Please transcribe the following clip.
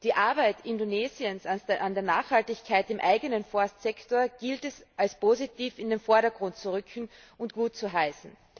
Die Arbeit Indonesiens an der Nachhaltigkeit im eigenen Forstsektor gilt es als positiv in den Vordergrund zu rücken und gut zu heißen.